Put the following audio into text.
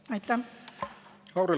Lauri Laats, palun!